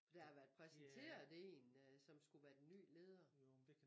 Der har været præsenteret én øh som skulle være den ny leder